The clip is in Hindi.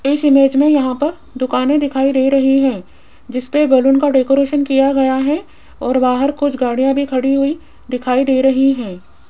इस इमेज में यहां पर दुकानें दिखाई दे रही हैं जिसपे बैलून का डेकोरेशन किया गया है और बाहर कुछ गाड़ियां भी खड़ी हुई दिखाई दे रही हैं।